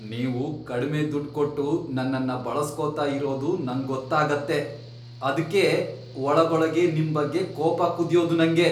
ನೀವು ಕಡ್ಮೆ ದುಡ್ಡ್ ಕೊಟ್ಟು ನನ್ನನ್ನ ಬಳಸ್ಕೊತಾ ಇರೋದು ನಂಗೊತ್ತಾಗತ್ತೆ, ಅದ್ಕೇ ಒಳಗೊಳಗೇ ನಿಮ್ಬಗ್ಗೆ ಕೋಪ ಕುದ್ಯೋದು ನಂಗೆ.